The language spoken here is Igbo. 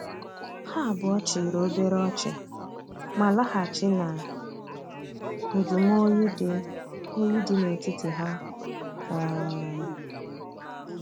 Ha abuo chiri obere ochi, ma lahachi na njumo oyi di oyi di na etiti ha. um